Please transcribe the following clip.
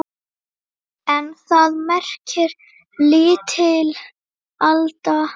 En það merkir lítil alda.